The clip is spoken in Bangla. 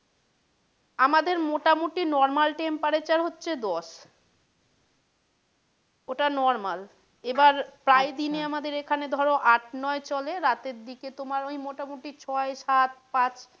আমাদের মোটামটি normal temperature হচ্ছে দশ। ওটা normal এবার প্রায় দিন আমাদের এখানে ধরো আট নয় চলে রাতের দিকে তোমার ওই মোটামটি ছয় সাত পাঁচ,